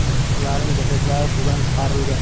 Ularning jasadlari suvdan chiqarilgan.